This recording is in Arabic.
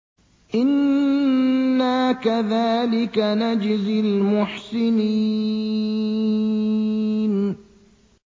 إِنَّا كَذَٰلِكَ نَجْزِي الْمُحْسِنِينَ